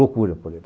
Loucura por eles.